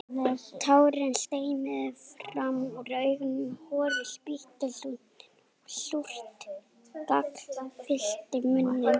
Tárin streymdu fram úr augunum, horið spýttist úr nefinu og súrt gall fyllti munninn.